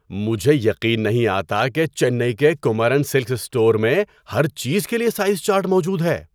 مجھے یقین نہیں آتا کہ چنئی کے کمارن سلکس اسٹور میں ہر چیز کے لیے سائز چارٹ موجود ہے۔